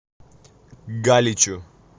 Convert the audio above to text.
галичу